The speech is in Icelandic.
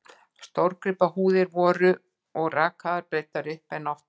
Stórgripahúðir voru og rakaðar og breiddar upp, en oftar þó úti við.